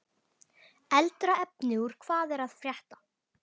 Eldra efni úr Hvað er að frétta?